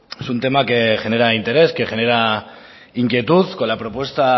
es un tema que genera interés que genera inquietud con la propuesta